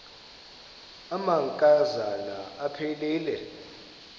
amanka zana aphilele